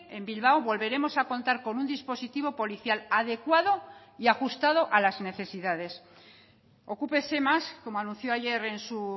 en bilbao volveremos a contar con un dispositivo policial adecuado y ajustado a las necesidades ocúpese más como anunció ayer en su